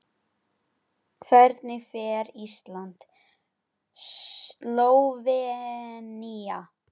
Hvernig fer Ísland- Slóvenía?